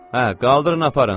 Hə, qaldırın, aparın!